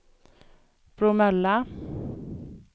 Bromölla